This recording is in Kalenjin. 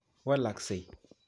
Walaksei